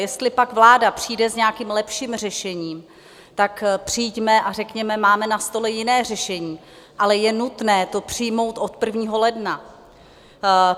Jestli pak vláda přijde s nějakým lepším řešením, tak přijďme a řekněme: Máme na stole jiné řešení, ale je nutné to přijmout od 1. ledna.